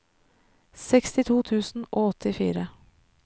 sekstito tusen og åttifire